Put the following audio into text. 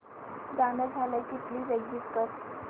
गाणं झालं की प्लीज एग्झिट कर